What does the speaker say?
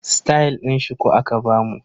Stayal din shuku aka bamu.